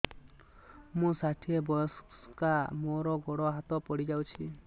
ମୁଁ ଷାଠିଏ ବୟସ୍କା ମୋର ଗୋଡ ହାତ ପଡିଯାଇଛି